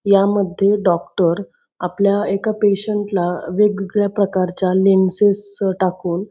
या मध्ये डॉक्टर आपल्या एका पेशंट ला वेगवेगळ्या प्रकारच्या लेन्सेस टाकून --